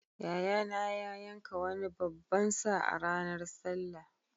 Yayana ya yanka wani babban sa a ranar sallah.